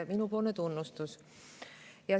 Minu tunnustus!